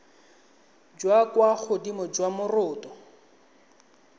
jwa kwa godimo jwa moroto